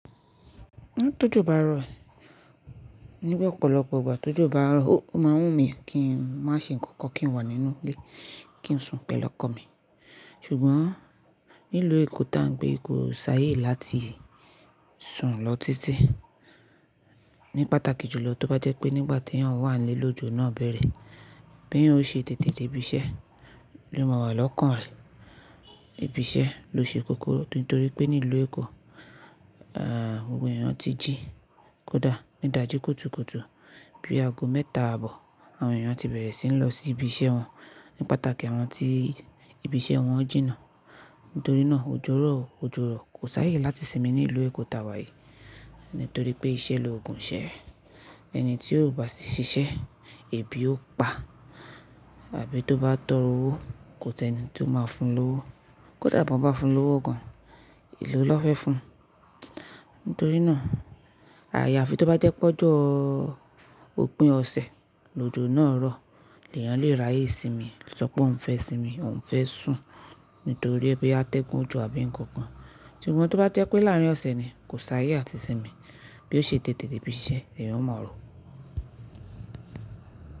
Tójò bá rọ̀, nígbà ọ̀pọ̀lọpọ̀ ìgbà tójò bá rọ̀, ó máa ń wù mí kí n má ṣe nǹkan kan, kí n wà nínú ilé, kí n sùn pẹ̀lú ọkọ mi. Ṣùgbọ́n nílùú Èkó tá ń gbé, kò sáayè láti sùn lọ títí. Ní pàtàkì jùlọ tó bá jẹ́ pé nígbà tí èyàn wà nílẹ̀ lọ́jọ́ náà bẹ̀rẹ̀, bí èyàn ò ṣe tètè dé ibi iṣẹ́, ní ó má wà lọ́kàn rẹ̀, ibi iṣẹ́ ló ṣe kókó. Nítorí pé nílùú Èkó, àwọn èèyàn ti jí kódà ní dàjí kótùkótù. Bí ago mẹ́ta àbọ̀, àwọn èèyàn ti bẹ̀rẹ̀ sí ní lọ sí ibi iṣẹ́ wọn ní pàtàkì àwọn tí ibi iṣẹ́ wọn jìnà. Nítorí náà òjòrọ̀ ó ojoro ro, kò sáayè láti sinmi nílùú Èkó tàwà yìí. Nítorí pé iṣẹ́ lo òògùn iṣẹ́. Ẹni tí ó bá sì ṣiṣẹ́, ebi ó pa, àfi tó bá tọrọ owó, kò sí ẹni tí ó máa fún lọ́wọ́. Kódà bí wọ́n bá fún lọ́wọ́ gan, èló ni wọ́n fẹ́ fún. Nítorí náà, àya á fi tó bá jẹ́ pé ọjọ́ ò ọ̀pin ọ̀sẹ̀, lọ́jọ́ náà rọ̀, ní èèyàn lè ráyè sinmi, sọ pé òun fẹ́ sinmi, òun fẹ́ sùn nítorí pé a tẹ́gùn òjò àbí ǹkan kan. Ṣùgbọ́n tó bá jẹ́ pé láàárín ọ̀sẹ̀ ni, kò sáayè àti sinmi. Bí ó ṣe tètè dé ibi iṣẹ́, èèyàn ó ma rò.